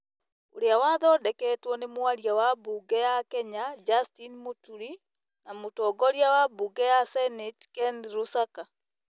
ũrĩa wathondeketwo nĩ mwaria wa mbunge ya Kenya, Justin Mũturi, na mũtongoria wa mbunge ya seneti, Ken Lusaka,